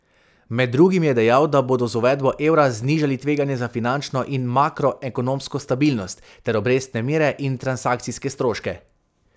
Med drugim je dejal, da bodo z uvedbo evra znižali tveganja za finančno in makroekonomsko stabilnost ter obrestne mere in transakcijske stroške.